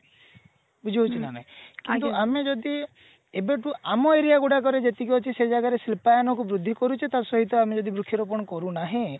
ବୁଝି ହଉଛି ନା ନାଇଁ କିନ୍ତୁ ଆମେ ଯଦି ଏବେଠୁ ଆମ aria ଗୁଡାକରେ ଯେତିକି ଅଛି ସେ ଜାଗାରେ ଶିଳ୍ପାୟନ କୁ ବୃଦ୍ଧି କରୁଛେ ତା ସହିତ ଆମେ ଯଦି ବୃକ୍ଷ ରୋପଣ କରୁ ନାହେଁ